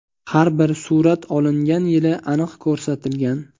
Har bir surat olingan yili aniq ko‘rsatilgan.